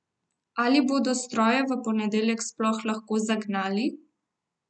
Ali bodo stroje v ponedeljek sploh lahko zagnali?